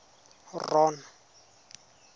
ron